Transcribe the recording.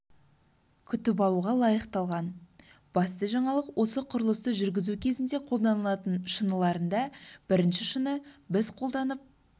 күтіп алуға лайықталған басты жаңалық осы құрылысты жүргізу кезінде қолданылатын шыныларында бірінші шыны біз қолданып